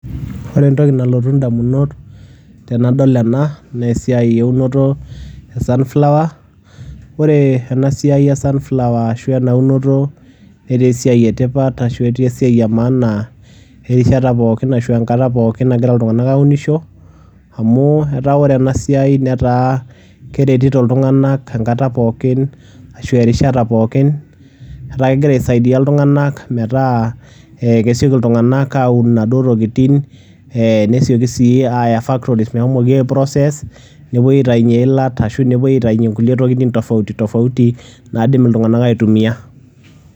Ore entoki nalotu indamunot tenadol ena naa esiai eunoto e sunflower. Ore ena siai e sunflower ashu ena unoto netaa esiai e tipat ashu etaa esiai e maana erishata pookin ashu enkata pookin nagira iltung'anak aunisho amu etaa ore ena siai netaa keretito iltung'anak enkata pookin ashu erishata pookin, etaa kegira aisaidia iltung'anak metaa ee kesioki iltung'anak aun inaduo tokitin, ee nesioki sii aaya factories meshomoki aiprocess, nepuoi aitayunye iilat ashu nepuoi aitayunye nkulie tokitin tofauti tofauti naidim iltung'anak aitumia.